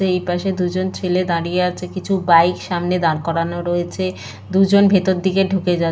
এই পাশে দুজন ছেলে দাঁড়িয়ে আছে কিছু বাইক সামনে দাঁড় করানো রয়েছে। দুজন ভেতর দিকে ঢুকে যা --